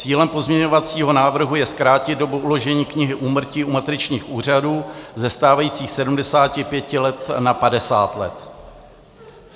Cílem pozměňovacího návrhu je zkrátit dobu uložení knihy úmrtí u matričních úřadů ze stávajících 75 let na 50 let.